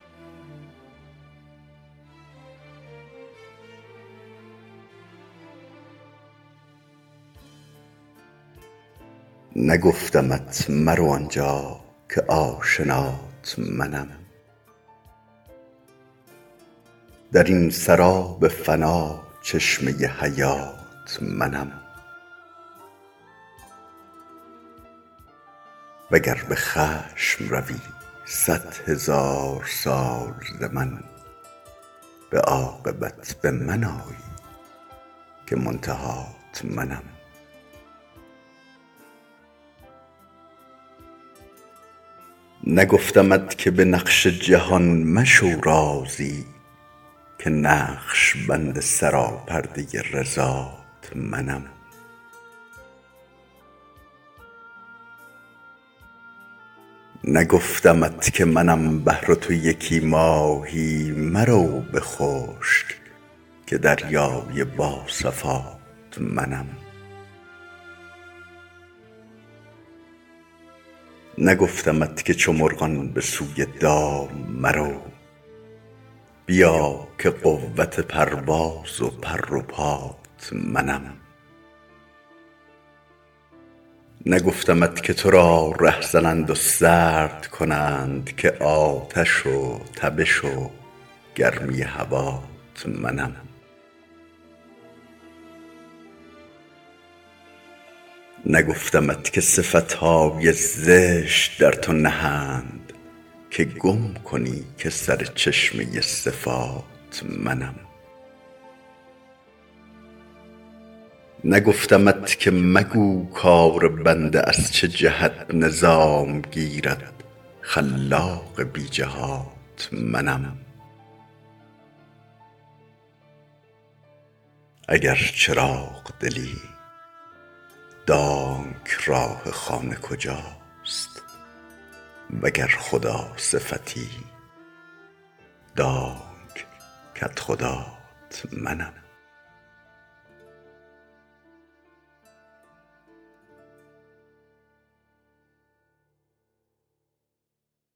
نگفتمت مرو آنجا که آشنات منم در این سراب فنا چشمه حیات منم وگر به خشم روی صدهزار سال ز من به عاقبت به من آیی که منتهات منم نگفتمت که به نقش جهان مشو راضی که نقش بند سراپرده رضات منم نگفتمت که منم بحر و تو یکی ماهی مرو به خشک که دریای با صفات منم نگفتمت که چو مرغان به سوی دام مرو بیا که قدرت پرواز و پر و پات منم نگفتمت که تو را ره زنند و سرد کنند که آتش و تبش و گرمی هوات منم نگفتمت که صفت های زشت در تو نهند که گم کنی که سر چشمه صفات منم نگفتمت که مگو کار بنده از چه جهت نظام گیرد خلاق بی جهات منم اگر چراغ دلی دان که راه خانه کجاست وگر خداصفتی دان که کدخدات منم